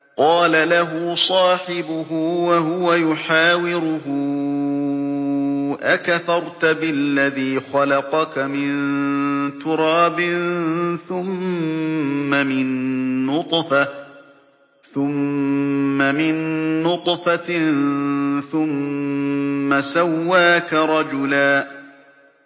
قَالَ لَهُ صَاحِبُهُ وَهُوَ يُحَاوِرُهُ أَكَفَرْتَ بِالَّذِي خَلَقَكَ مِن تُرَابٍ ثُمَّ مِن نُّطْفَةٍ ثُمَّ سَوَّاكَ رَجُلًا